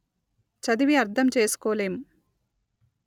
చదివి అర్ధంచేసుకోలేం